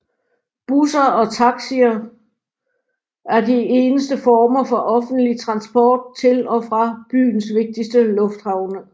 Busser og taxier er de eneste former for offentlig transport til og fra byens vigtigste lufthavne